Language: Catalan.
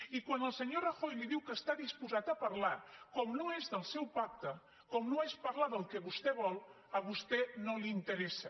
i quan el senyor rajoy li diu que està disposat a parlar com que no és del seu pacte com que no és parlar del que vostè vol a vostè no li interessa